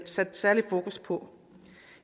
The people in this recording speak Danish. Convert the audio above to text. sat særlig fokus på